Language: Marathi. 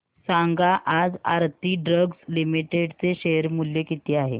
सांगा आज आरती ड्रग्ज लिमिटेड चे शेअर मूल्य किती आहे